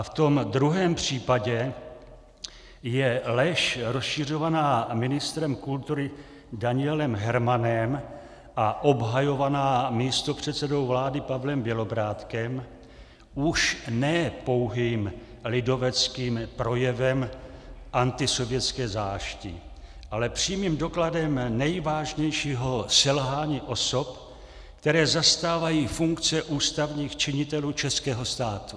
A v tom druhém případě je lež rozšiřovaná ministrem kultury Danielem Hermanem a obhajovaná místopředsedou vlády Pavlem Bělobrádkem už ne pouhým lidoveckým projevem antisovětské zášti, ale přímým dokladem nejvážnějšího selhání osob, které zastávají funkce ústavních činitelů českého státu.